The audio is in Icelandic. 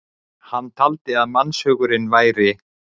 hann taldi að mannshugurinn væri